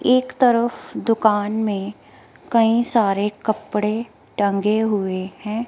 एक तरफ दुकान में कई सारे कपड़े टंगे हुए हैं।